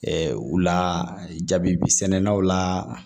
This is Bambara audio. u la jabi sɛnɛnnaw la